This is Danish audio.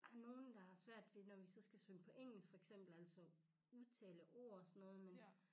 Der er nogen der har svært ved når vi så skal synge på engelsk for eksempel altså udtale ord og sådan noget men